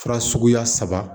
Fura suguya saba